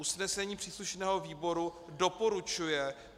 Usnesení příslušného výboru doporučuje